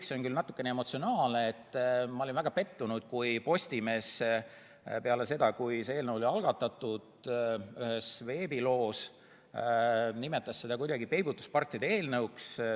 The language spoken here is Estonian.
See on küll natuke emotsionaalne, aga ma olin väga pettunud, kui Postimees nimetas ühes veebiloos seda peibutuspartide eelnõuks.